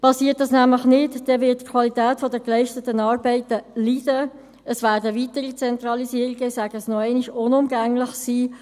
Geschieht dies nämlich nicht, wird die Qualität der geleisteten Arbeiten leiden, und es werden – ich wiederhole – weitere Zentralisierungen unumgänglich sein.